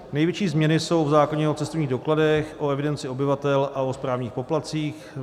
Největší změny jsou v zákoně o cestovních dokladech, o evidenci obyvatel a o správních poplatcích.